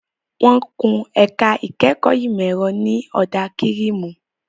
Wọ́n kun ẹ̀ka ìkẹ́kọ̀ọ́ ìmọ̀ ẹ̀rọ ní ọ̀dà kírìmù.